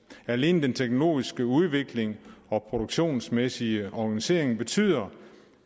alene den teknologiske udvikling og produktionsmæssige organisering betyder